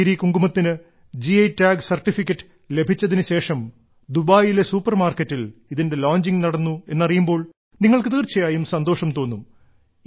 കശ്മീരി കുങ്കുമത്തിന് G I tag certificate ലഭിച്ചതിനുശേഷം ദുബായിലെ സൂപ്പർമാർക്കറ്റിൽ ഇതിന്റെ ലോഞ്ചിംഗ് നടന്നു എന്നറിയുമ്പോൾ നിങ്ങൾക്ക് തീർച്ചായായും സന്തോഷം തോന്നും